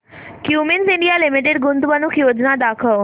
Cummins India limited गुंतवणूक योजना दाखव